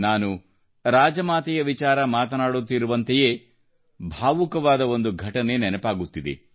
ನಾನು ರಾಜಮಾತೆ ವಿಜಯರಾಜೇ ಸಿಂಧಿಯಾ ಅವರ ವಿಚಾರ ಮಾತನಾಡುತ್ತಿರುವಂತೆಯೇ ಭಾವುಕವಾದ ಒಂದು ಘಟನೆ ನೆನಪಾಗುತ್ತಿದೆ